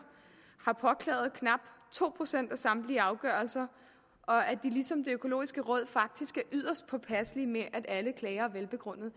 har påklaget knap to procent af samtlige afgørelser og at de ligesom det økologiske råd faktisk er yderst påpasselige med at alle klager er velbegrundede